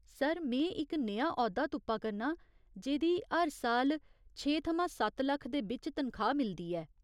Sir, में इक नेहा औह्दा तुप्पा करनां जेह्दी हर साल छे थमां सत्त लक्ख दे बिच्च तनखाह् मिलदी ऐ।